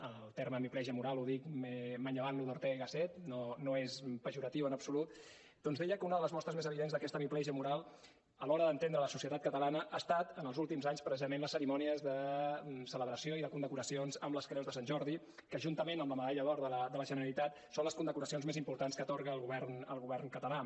el terme hemiplegia moral el dic manllevant lo d’ortega i gasset no és pejoratiu en absolut doncs deia que una de les mostres més evidents d’aquesta hemiplegia moral a l’hora d’entendre la societat catalana han estat en els últims anys precisament les cerimònies de celebració i de condecoracions amb les creus de sant jordi que juntament amb la medalla d’or de la generalitat són les condecoracions més importants que atorga el govern català